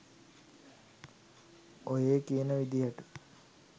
ඔහේ කියන විදියට